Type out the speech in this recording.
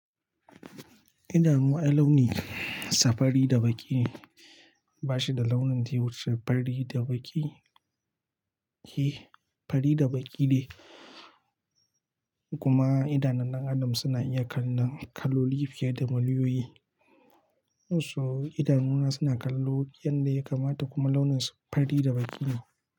Idanu ai launinsa fari da baƙi ne, ba shi da launin daya wuce fari da baƙi, he fari da baƙi ne. Kuma idanun dan Adam suna iya kallon kaloli fiye da muliyoyi. Musu idanuna suna kallo yadda ya kamata kuma launinsu fari da baƙi ne.